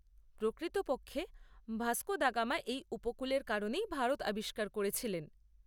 প্রকৃতপক্ষে, Vasco da Gama এই উপকূলের কারণেই ভারত আবিষ্কার করেছিলেন।